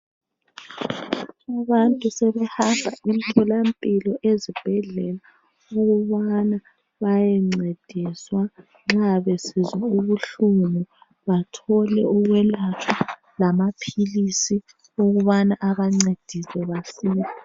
Abantu sebehamba emtholampilo ezibhedlela ukubana bayencediswa nxa besizwa ubuhlungu bathole ukwelatshwa lamaphilisi ukubana abancedise basile.